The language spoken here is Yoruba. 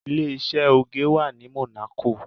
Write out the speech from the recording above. Ilé-iṣẹ́ oge wà ní Monaco.